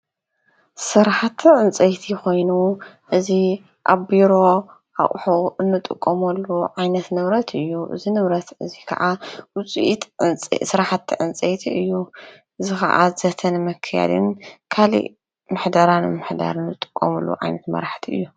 ስራሕቲ ዕንፀይቲ ኮይኑ እዚ ኣብ ቢሮ ኣቑሑ እንጥቀመሉ ዓይነት ንብረት እዩ። እዚ ንብረት እዚ ካዓ ዉጺኢት ስራሕቲ ዕንፀይቲ እዩ። እዚ ካዓ ዘተ ንምክያድን ካሊእ ምሕደራ ንምሕዳርን ዝጥቀመሉ ዓይነት መራሕቲ እዩ።